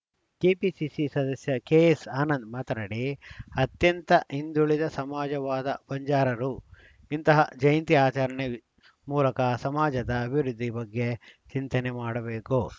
KPCC ಸದಸ್ಯ KS Anand ಮಾತನಾಡಿ ಅತ್ಯಂತ ಹಿಂದುಳಿದ ಸಮಾಜವಾದ ಬಂಜಾರರು ಇಂತಹ ಜಯಂತಿ ಆಚರಣೆ ಮೂಲಕ ಸಮಾಜದ ಅಭಿವೃದ್ಧಿ ಬಗ್ಗೆ ಚಿಂತನೆ ಮಾಡಬೇಕು